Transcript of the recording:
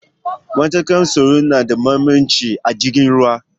matakan tsaro nada mahimmanci a jirgin ruwa